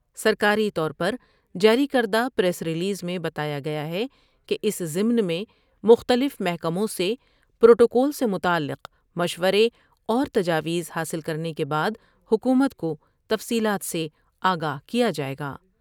سرکاری طور پر جاری کردہ پریس ریلیز میں بتایا گیا ہے کہ اس ضمن میں مختلف محکموں سے پروٹوکول سے متعلق مشورے اور تجاویز حاصل کرنے کے بعد حکومت کو تفصیلات سے آگاہ کیا جاۓ گا۔